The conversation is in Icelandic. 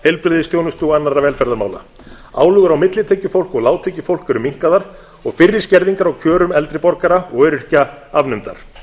heilbrigðisþjónustu og annarra velferðarmála álögur á millitekjufólk og lágtekjufólk eru minnkaðar og fyrri skerðingar á kjörum eldri borgara og öryrkja afnumdar